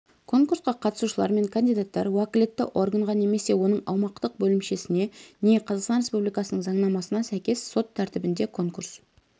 конкурсқа қатысушылар мен кандидаттар уәкілетті органға немесе оның аумақтық бөлімшесіне не қазақстан республикасының заңнамасына сәйкес сот тәртібінде конкурс